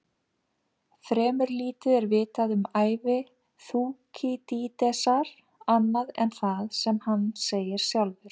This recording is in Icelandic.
Fremur lítið er vitað um ævi Þúkýdídesar annað en það sem hann segir sjálfur.